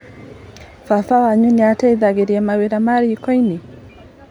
Baba wanyu nĩateithagĩrĩria na mawĩra ma rikoinĩ?